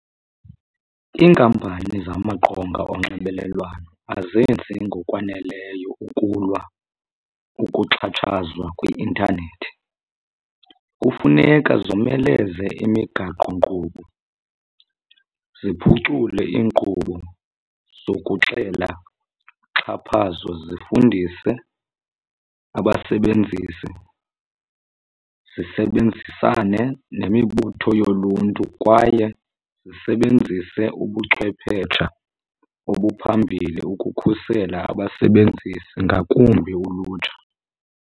Iinkampani zamaqonga onxibelelwano azenzi ngokwaneleyo ukulwa ukuxhatshazwa kwi-intanethi. Kufuneka zomeleze imigaqonkqubo, ziphucule iinkqubo zokuxela uxhaphazo, zifundise abasebenzisi, zisebenzisane nemibutho yoluntu kwaye zisebenzise ubuchwephetsha obuphambili ukukhusela abasebenzisi ngakumbi ulutsha.